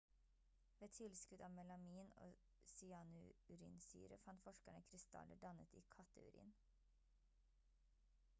ved tilskudd av melamin og cyanurinsyre fant forskerne krystaller dannet i katteurin